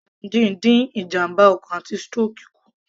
Titus sardines dín ìjàmbá ọkàn àti stroke kù